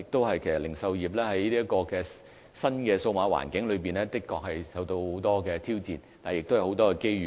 其實零售業在新數碼環境中，確實受到很多的挑戰，但亦有很多機遇。